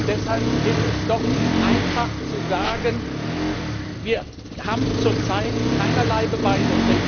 Deshalb ist es doch einfach zu sagen, wir haben zurzeit keinerlei Beweise.